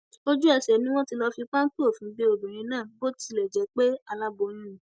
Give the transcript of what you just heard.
ojúẹsẹ ni wọn ti lọọ fi pápẹ òfin gbé obìnrin náà bó tilẹ jẹ pé aláboyún ni